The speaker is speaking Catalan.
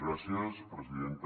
gràcies presidenta